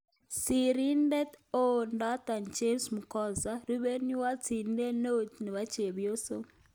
Sirindeet �eoo -Doto James Mgosha. Rupeiywot sirindet neoo-chepyoso